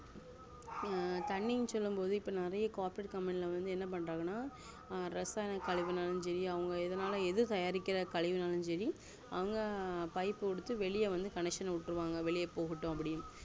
அஹ் தண்ணினுசொல்லும் போது இப்போ நெறைய corporatecompany லாம் என்ன பண்றாங்கன இரசாயனகழிவு சேரி அவங்க எதுனல்லும் எது தயாரிக்குற கழிவு நாளும் சேரி அவங்க pipe குடுத்து வெளிய வந்து connection உட்டுருவாங்கவெளிய